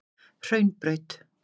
Hraunbraut